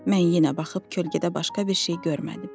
Mən yenə baxıb kölgədə başqa bir şey görmədim.